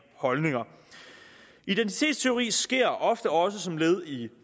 holdninger identitetstyveri sker ofte også som led i